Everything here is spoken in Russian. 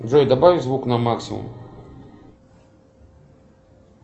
джой добавь звук на максимум